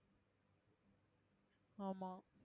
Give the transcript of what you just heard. ஆமா